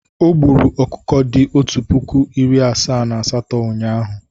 O gburu ọkụkọ dị otu puku, iri asaa na asatọ ụnyaahụ.